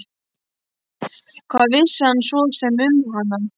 Hvað vissi hann svo sem um hana?